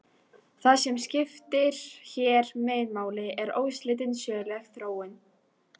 Það sem skiptir hér meginmáli er óslitin söguleg þróun.